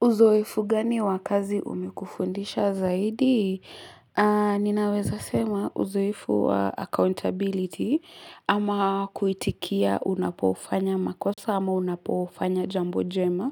Uzoefu gani wa kazi umekufundisha zaidi? Ninaweza sema uzoefu wa accountability ama kuitikia unapofanya makosa ama unapofanya jambo jema.